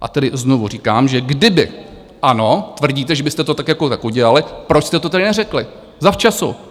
A tedy znovu říkám, že kdyby ano, tvrdíte, že byste to tak jako tak udělali, proč jste to tedy neřekli zavčasu?